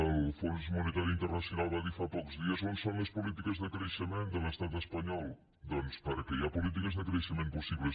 el fons monetari internacional va dir fa pocs dies on són les polítiques de creixement de l’estat espanyol perquè hi ha polítiques de creixement possibles